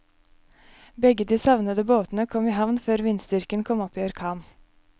Begge de savnede båtene kom i havn før vindstyrken kom opp i orkan.